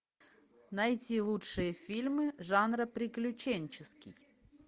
найти лучшие фильмы жанра приключенческий